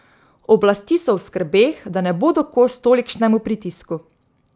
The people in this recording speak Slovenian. Oblasti so v skrbeh, da ne bodo kos tolikšnemu pritisku.